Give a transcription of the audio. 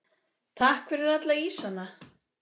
Takk fyrir alla ísana.